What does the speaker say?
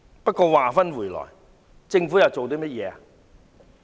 不過，話說回來，政府又做過甚麼呢？